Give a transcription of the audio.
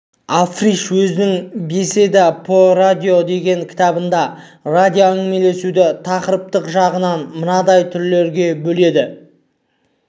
африш өзінің беседа по радио деген кітабында радиоәңгімелесуді тақырыптық жағынан мынадай түрлерге бөледі